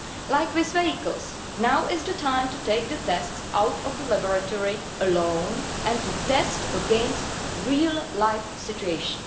Like with vehicles, now is the time to take the tests out of the laboratory alone and to test against real life situations.